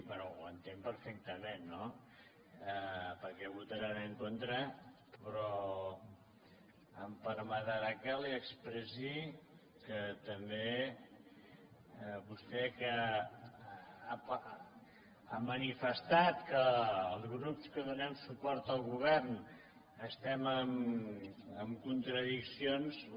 bé ho entenc perfectament no per què votaran en contra però em permetrà que li expressi que també vostè que ha manifestat que els grups que donem suport al govern estem en contradiccions